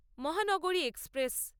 মহানগরী এক্সপ্রেস